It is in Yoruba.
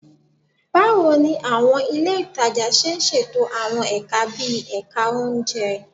Báwo ni àwọn ilé ìtajà ṣe ń ṣètò àwọn ẹ̀ka bíi ẹ̀ka oúnjẹ